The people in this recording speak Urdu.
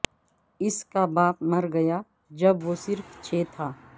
اس کا باپ مر گیا جب وہ صرف چھ تھا